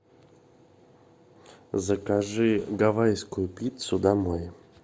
закажи гавайскую пиццу домой